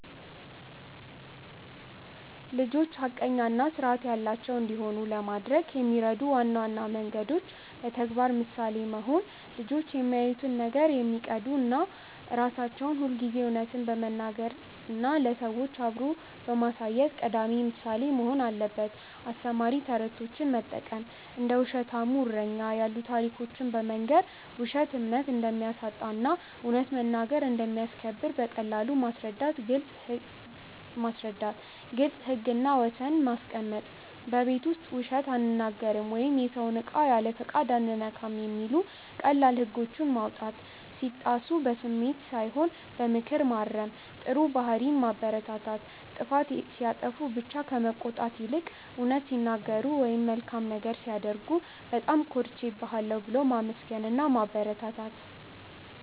ልጆች ሐቀኛና ስርዐት ያላቸው እንዲሆኑ ለማድረግ የሚረዱ ዋና መንገዶች: በተግባር ምሳሌ መሆን: ልጆች የሚያዩትን ነው የሚቀዱት. እኛ ራሳችን ሁልጊዜ እውነትን በመናገር እና ለሰዎች አብሮ በማሳየት ቀዳሚ ምሳሌ መሆን አለብን. አስተማሪ ተረቶችን መጠቀም: እንደ "ውሸታሙ እረኛ" ያሉ ታሪኮችን በመንገር፣ ውሸት እምነት እንደሚያሳጣ እና እውነት መናገር እንደሚያስከብር በቀላሉ ማስረዳት. ግልጽ ህግና ወሰን ማስቀመጥ: በቤት ውስጥ "ውሸት አንናገርም" ወይም "የሰውን እቃ ያለፈቃድ አንነካም" የሚሉ ቀላል ህጎችን ማውጣት. ሲጣሱ በስሜት ሳይሆን በምክር ማረም. ጥሩ ባህሪን ማበረታታት: ጥፋት ሲያጠፉ ብቻ ከመቆጣት ይልቅ፣ እውነት ሲናገሩ ወይም መልካም ነገር ሲያደርጉ "በጣም ኮርቼብሃለሁ" ብሎ ማመስገንና ማበረታታት.